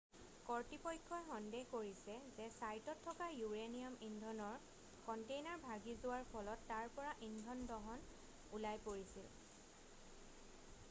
কৰ্তৃপক্ষই সন্দেহ কৰিছে যে ছাইটত থকা ইউৰেনিয়াম ইন্ধনৰ কণ্টেইনাৰ ভাগি যোৱাৰ ফলত তাৰ পৰা ইন্ধন ওলাই পৰিছিল